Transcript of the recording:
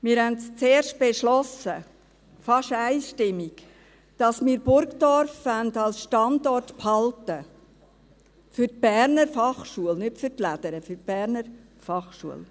Wir beschlossen zuerst, fast einstimmig, dass wir Burgdorf als Standort behalten wollen für die BFH, nicht für die «Lädere».